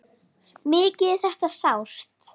Mikið er þetta sárt.